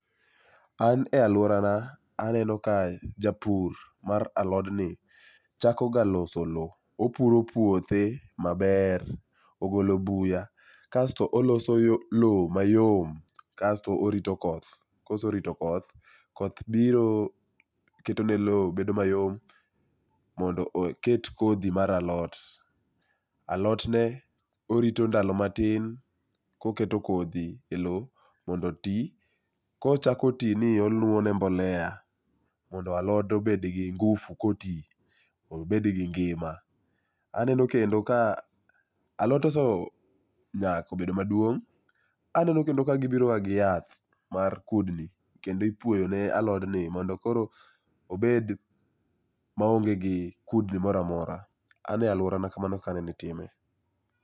An e aluorana aneno ka japur mar alodni chakoga loso lowo opuro puothe maber ogolo buya kasto oloso lowo mayom kasto orito koth, ka oserito koth, koth biro ketone lowo bedo mayom mondo oket kodhi mar alot. Alotne, orito ndalo matin koketo kodhi e lowo mondo oti, kochako ti ni i to oluwo ne mbolea mondo alode obed gi ngufu ka oti obed gi ngima . Aneno kendo ka alot ose nyak nyaka obedo maduong', aneno kendo ka gibiro gi yath mar kudni kendo ikuoyo ne alodni modo koro obed maonge gi kudni moro amora. A ne aluorana kamano e kaka itime.